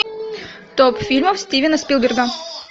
топ фильмов стивена спилберга